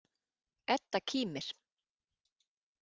Edda kímir.